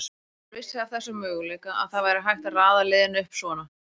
Maður vissi af þessum möguleika, að það væri hægt að raða liðinu upp svona.